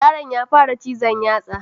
Yaron ya fara cizon yatsa